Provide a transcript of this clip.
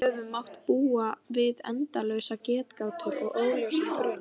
Við höfum mátt búa við endalausar getgátur og óljósan grun.